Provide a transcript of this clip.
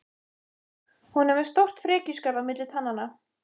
Hún er með stórt frekjuskarð á milli tannanna.